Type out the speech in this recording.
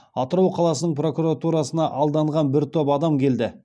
атырау қаласының прокуратурасына алданған бір топ адам келді